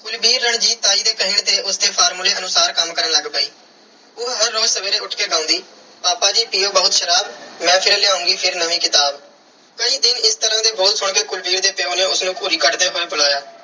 ਕੁਲਵੀਰ ਰਣਜੀਤ ਤਾਈ ਦੇ ਕਹੇ ਤੇ ਉਸ ਦੇ formula ਅਨੁਸਾਰ ਕੰਮ ਕਰਨ ਲੱਗ ਪਈ। ਉਹ ਹਰ ਰੋਜ਼ ਸਵੇਰੇ ਉੱਠ ਕੇ ਗਾਉਂਦੀ- ਪਾਪਾ ਜੀ ਪੀਓ ਬਹੁਤ ਸ਼ਰਾਬ। ਮੈਂ ਫਿਰ ਲਿਆਉਂਗੀ ਫਿਰ ਨਵੀਂ ਕਿਤਾਬ। ਕਈ ਦਿਨ ਇਸ ਤਰ੍ਹਾਂ ਦੇ ਬੋਲ ਸੁਣ ਕੇ ਕੁਲਵੀਰ ਦੇ ਪਿਉ ਨੇ ਉਸ ਨੂੰ ਘੂਰੀ ਕੱਢਦੇ ਹੋਏ ਬੁਲਾਇਆ